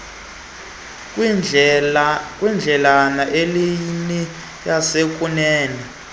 kwindledlana ileyini yasekunene